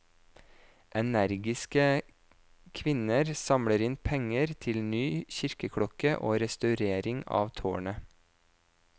Energiske kvinner samler inn penger til ny kirkeklokke og restaurering av tårnet.